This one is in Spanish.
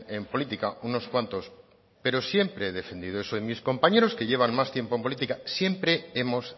en política unos cuantos pero siempre he defendido eso y mis compañeros que llevan más tiempo en política siempre hemos